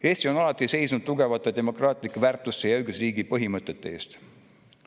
Eesti on alati seisnud tugevate demokraatlike väärtuste ja õigusriigi põhimõtete eest.